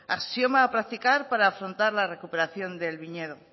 axioma a practicar para afrontar la recuperación del viñedo